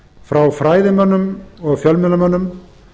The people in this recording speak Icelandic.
frá fræðimönnum og fjölmiðlamönnum